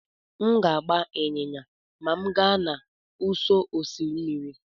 M ga-agba ịnyịnya ma m gaa n'ụsọ osimiri.